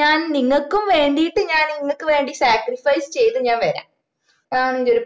ഞാൻ നിങ്ങൾക്കും വേണ്ടിട്ട് ഞാൻ ഇങ്ങക്ക് വേണ്ടി sacrifice ചെയ്ത് ഞാൻ വരാം അതാണ് എന്റൊരു